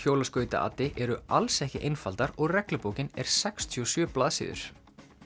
hjólaskautaati eru alls ekki einfaldar og reglubókin er sextíu og sjö blaðsíður